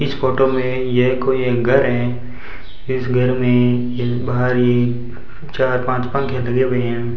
इस फोटो में यह कोई हैंगर है इस घर में ये बाहर ही चार पांच पंखे लगे हुए हैं।